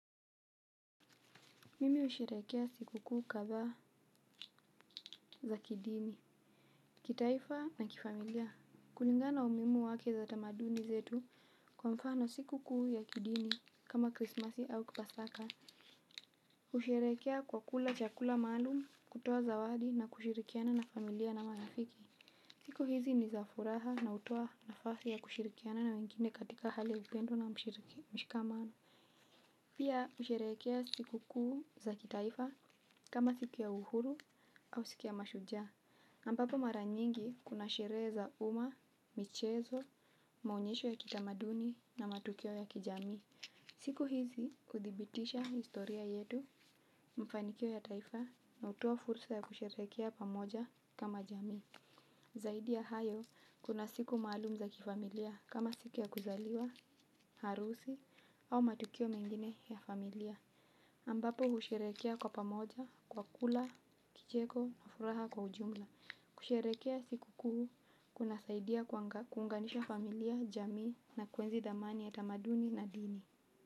Mimi usherekea siku kuu kadhaa za kidini, kitaifa na kifamilia. Kulingana na umuimu wake za tamaduni zetu kwa mfano siku kuu ya kidini kama krismasi au pasaka. Usherekea kwa kula chakula maalum kutowa zawadi na kushirikiana na familia na marafiki. Siku hizi ni za furaha na utowa nafasi ya kushirikiana na wengine katika hali ya upendo na mshikamano. Ambapo mara nyingi kuna sherehe za uma, michezo, maonyesho ya kitamaduni na matukio ya kijamii. Siku hizi kuthibitisha historia yetu mafanikio ya taifa na utowa fursa ya kusherehekea pamoja kama jamii. Zaidi ya hayo kuna siku maalum za kifamilia kama siku ya kuzaliwa, harusi au matukio mengine ya familia. Ambapo husherehekea kwa pamoja, kwa kula, kicheko na furaha kwa ujumla kusherehekea siku kuu, kunasaidia kuunganisha familia, jamii na kuenzi dhamani ya tamaduni na dini.